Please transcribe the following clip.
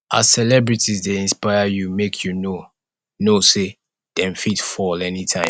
as celebrities dey inspire you make you know know sey dem fit fall anytime